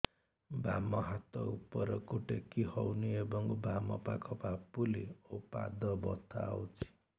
ବାମ ହାତ ଉପରକୁ ଟେକି ହଉନି ଏବଂ ବାମ ପାଖ ପାପୁଲି ଓ ପାଦ ବଥା ହଉଚି